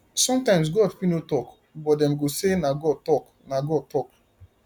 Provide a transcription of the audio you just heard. sometimes god fit no talk but dem go say na god talk na god talk